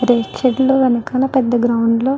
రేగు చెట్లు వెనుకల పెద్ద గ్రౌండ్ లో --